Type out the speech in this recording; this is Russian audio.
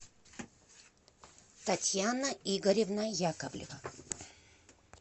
татьяна игоревна яковлева